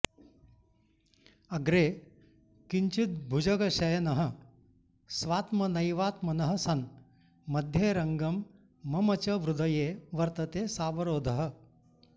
अग्रे किञ्चिद्भुजगशयनः स्वात्मनैवात्मनः सन् मध्येरङ्गं मम च हृदये वर्तते सावरोधः